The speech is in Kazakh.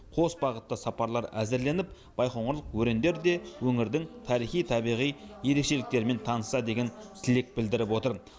қос бағытты сапарлар әзірленіп байқоңырлық өрендер де өңірдің тарихи табиғи ерекшеліктерімен танысса деген тілек білдіріп отыр